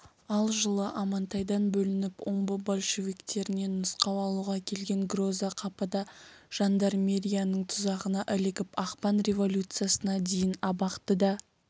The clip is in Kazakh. ал жылы амантайдан бөлініп омбы большевиктерінен нұсқау алуға келген гроза қапыда жандармерияның тұзағына ілігіп ақпан революциясына дейін абақтыда